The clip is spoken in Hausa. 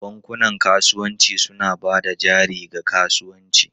Bankunan kasuwanci suna ba da jari ga kasuwanci.